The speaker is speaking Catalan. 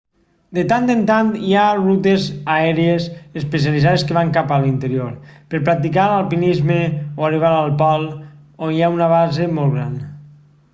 de tant en tant hi ha rutes aèries especialitzades que van cap a l'interior per practicar alpinisme o arribar al pol on hi ha una base molt gran